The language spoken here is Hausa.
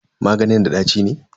Maganin da ɗaci ne?